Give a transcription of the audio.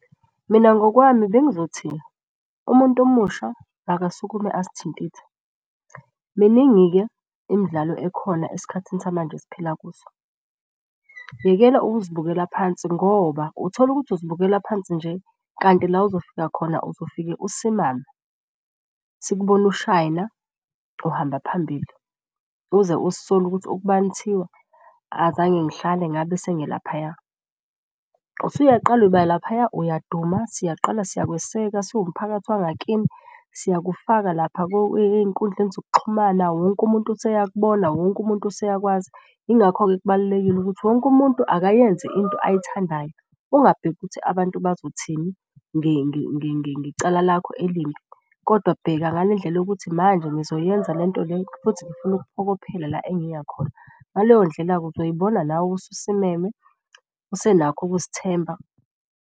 Mina ngokwami bengizothini umuntu omusha akasukume azithintithe. Miningi-ke imidlalo ekhona esikhathini samanje esiphila kuso. Yekela ukuzibukela phansi ngoba utholukuthi uzibukela phansi nje kanti la ozofika khona uzofike usimame. Sikubone usishayina uhamba phambili uze uzisole ukuthi ukubani kuthiwa azange ngihlale ngabe sengilaphaya. Usuyaqala uba laphaya, uyaduma, siyaqala siyakweseka siwumphakathi wangakithi, siyakufaka lapha ey'nkundleni zokuxhumana. Wonke umuntu useyakubona, wonke umuntu useyakwazi. Ingakho-ke kubalulekile ukuthi wonke umuntu akayenze into ayithandayo ugabheki ukuthi abantu bazothini ngecala lakho elimbi. Kodwa bheka ngale ndlela yokuthi manje ngizoyenza lento le, futhi ngifuna ukuphokophela la engiya khona. Ngaleyo ndlela-ke uzoyibona nawe ususimeme usenakho ukuzithemba.